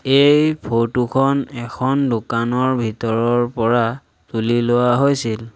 এই ফটো খন এখন দোকানৰ ভিতৰৰ পৰা তুলি লোৱা হৈছিল।